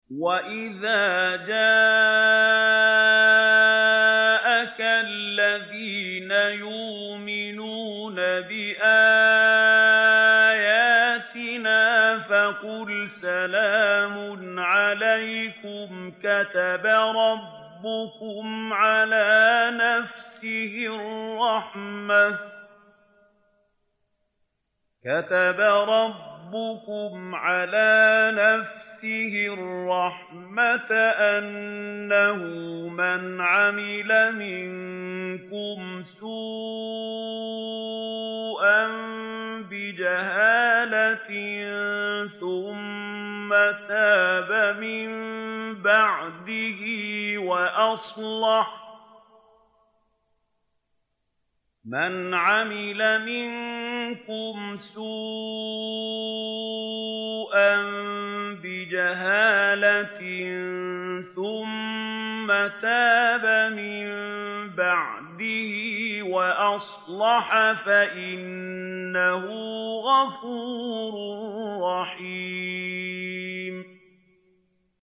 وَإِذَا جَاءَكَ الَّذِينَ يُؤْمِنُونَ بِآيَاتِنَا فَقُلْ سَلَامٌ عَلَيْكُمْ ۖ كَتَبَ رَبُّكُمْ عَلَىٰ نَفْسِهِ الرَّحْمَةَ ۖ أَنَّهُ مَنْ عَمِلَ مِنكُمْ سُوءًا بِجَهَالَةٍ ثُمَّ تَابَ مِن بَعْدِهِ وَأَصْلَحَ فَأَنَّهُ غَفُورٌ رَّحِيمٌ